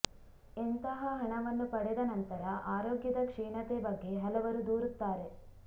ಇಂತಹ ಹಣವನ್ನು ಪಡೆದ ನಂತರ ಆರೋಗ್ಯದ ಕ್ಷೀಣತೆ ಬಗ್ಗೆ ಹಲವರು ದೂರುತ್ತಾರೆ